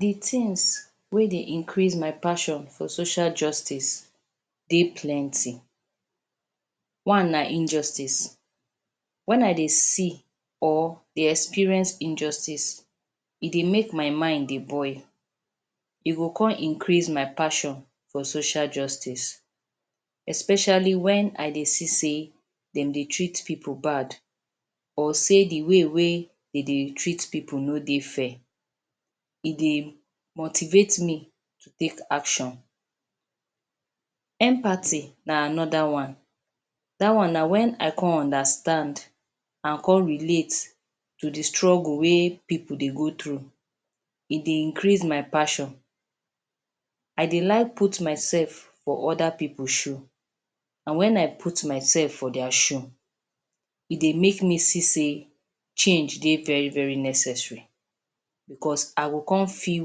Di tins wey dey increase my passion for social justice dey plenty. One na injustice wen I dey see or dey experience injustice e dey make my mind dey boil, e go come increase my passion for social justice, especially wen I dey see say dem dey treat pipu bad or sey di way wey dem dey treat pipu no dey fair dey motivate me to take action. Empathy na anoda one dat one na wen I come understand and come relate to di struggle wey pipu dey go through e dey increase my passion. I dey like put my sef for oda pipu shoe and wen I put myself for dia shoe e dey make me see say, change dey very very necessary bicos I go come feel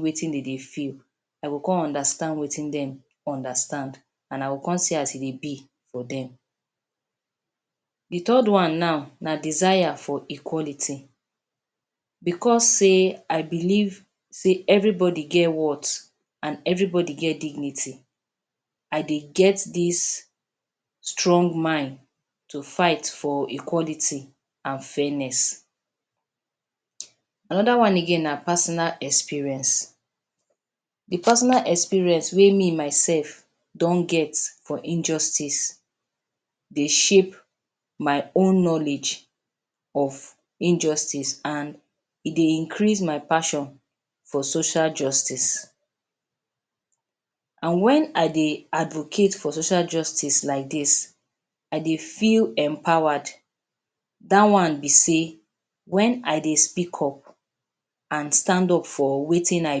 wetin dem dey feel, I go come understand wetin dem understand and I go come see as e dey be. Di third one naw di desire for equality. Bicos say I believe say evribody get worth and evribody get dignity I dey get dis strong mind to fight for equality and fairness. Anoda again na personal experience. Di personal experience wey me myself don get for injustice dey shape my own knowledge of injustice and e dey increase my passion social justice. And wen I dey Advocate for social justice like dis I dey feel empowerd dat one be say wen I dey speak up, and stand up for wetin I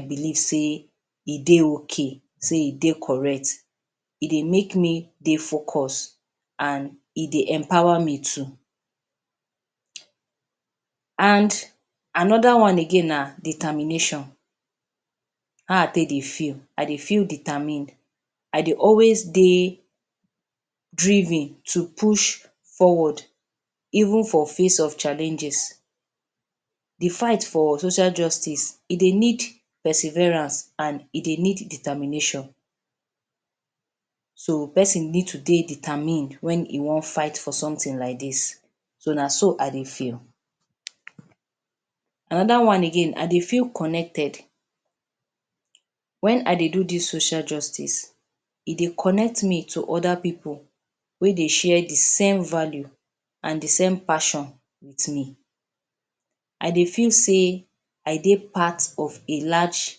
believe say e dey ok say e dey correct e dey make me dey focused and E dey empower me too. And anoda one again na determination, how I take dey feel, I dey feel determined dey drive me to push, even for face of challenges di fight for social justice e dey need perseverance and e dey need determination so pesin need to dey determined wen e wan fight for sometin like dis, so na so I dey feel. Anoda one again I dey feel connected, wen I dey do dis social justice e dey connect me to oda pipu wey dey share di same value and di same passion wit me. I dey feel say I dey part of a large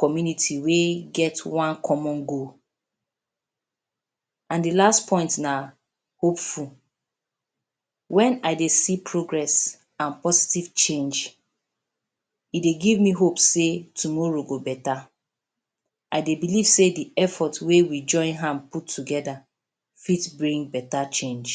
community wey get one common goal. And di last point na hopeful. Wen I dey see progress and positive change e dey give me hope say tomorrow go betta I dey believe say di effort wey wey join hand put togeda, fit bring betta change.